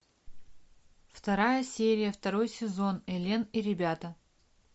вторая серия второй сезон элен и ребята